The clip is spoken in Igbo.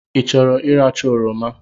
I chọrọ ị racha oroma?